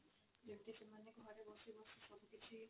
ଯେମିତି ସେମାନେ ଘରେ ବସି ବସି ସବୁ କିଛି